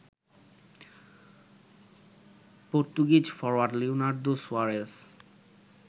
Portuguese forward Leonardo Suarez